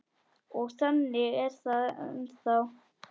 Og þannig er það ennþá.